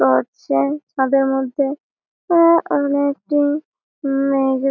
করছেন ছাদের মধ্যে ও আরও একজন মেয়ে ।